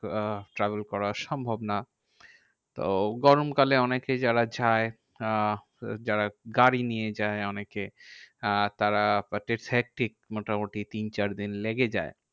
আহ travel করা সম্ভব না। তাও গরমকালে অনেকে যারা যায় আহ যারা গাড়ি নিয়ে যায় অনেকে আহ তারা মোটামুটি তিন চারদিন লেগে যায়।